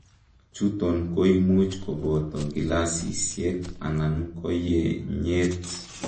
chuton koimuch koboto gilasisiek anan koyenyet